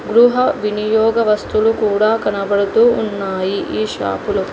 గృహ వినియోగవస్తులు కూడా కనబడుతూ ఉన్నాయి ఈ షాపులో .